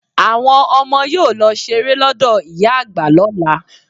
Àwọn ọmọ yóò lọ ṣeré lọ́dọ̀ ìyá àgbà lọla.